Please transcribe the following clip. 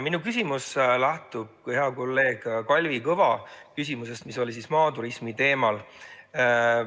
Minu küsimus lähtub hea kolleegi Kalvi Kõva küsimusest, mis oli maaturismi teemal.